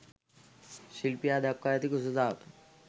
ශිල්පියා දක්වා ඇති කුසලතාව